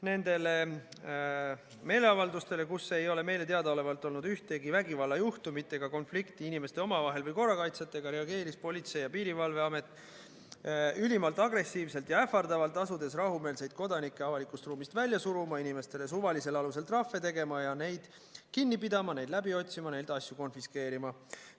Nendele meeleavaldustele, kus ei ole meile teadaolevalt olnud ühtegi vägivallajuhtumit ega konflikti inimestel omavahel või korrakaitsjatega, reageeris Politsei- ja Piirivalveamet ülimalt agressiivselt ja ähvardavalt, asudes rahumeelseid kodanikke avalikust ruumist välja suruma, inimestele suvalisel alusel trahve tegema, neid kinni pidama, neid läbi otsima ja neilt asju konfiskeerima.